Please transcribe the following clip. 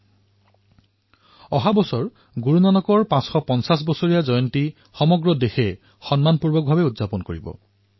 দেশে অহা বৰ্ষত গুৰু নানক দেৱজীৰ ৫৫০তম জয়ন্তী ধুমধামেৰে পালন কৰিব